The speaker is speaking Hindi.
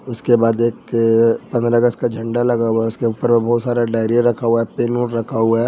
उसके बाद एक पंद्रह अगस्त का झंडा लगा हुआ उसके ऊपर में बहुत सारा डायरीया रखा हुआ पेन ओन रखा हुआ है ।